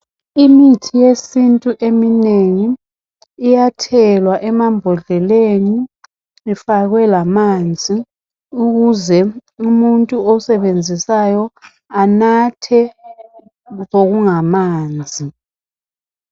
Imithi yesiNtu eminengi iyathelwa emambodleleni ifakwe lamanzi ukuze umuntu owusebenzisayo anathe okungamanzi.